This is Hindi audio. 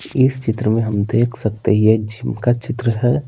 इस चित्र में हम देख सकते हैं यह जिम का चित्र है।